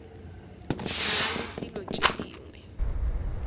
na le dilo tše dingwe